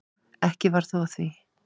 Ekki varð þó af því.